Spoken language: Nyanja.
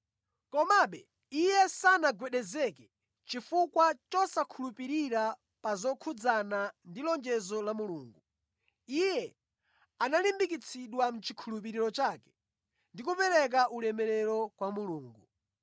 Komabe iye sanagwedezeke chifukwa chosakhulupirira pa zokhudzana ndi lonjezo la Mulungu. Iye analimbikitsidwa mʼchikhulupiriro chake ndi kupereka ulemerero kwa Mulungu.